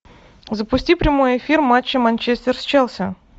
запусти прямой эфир матча манчестер с челси